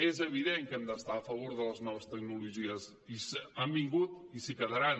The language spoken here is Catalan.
és evident que hem d’estar a favor de les noves tecnologies i han vingut i s’hi quedaran